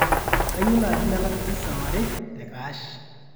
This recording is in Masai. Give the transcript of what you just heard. kayieu naaji nalak pizza ware te cash